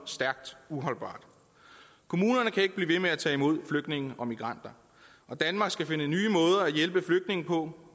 stærkt uholdbar kommunerne kan ikke blive ved med at tage imod flygtninge og migranter og danmark skal finde nye måder at hjælpe flygtninge på